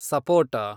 ಸಪೋಟ